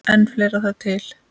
En fleira þarf til.